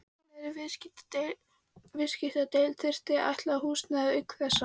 Væntanlegri viðskiptadeild þyrfti að ætla húsnæði auk þessa.